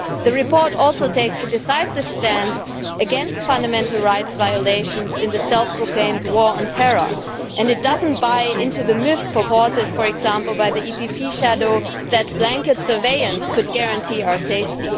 The report also takes a decisive stance against fundamental rights violations in the self proclaimed war on terror, and it does not buy into the myth purported, for example, by the EPP shadow that blanket surveillance could guarantee our safety.